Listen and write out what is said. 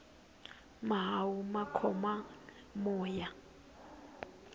mahawu ma khoma moya